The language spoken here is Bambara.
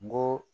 N go